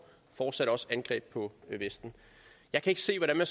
fortsat også angreb på vesten jeg kan ikke se hvordan man